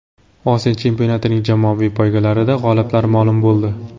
Osiyo chempionatining jamoaviy poygalarida g‘oliblar ma’lum bo‘ldi.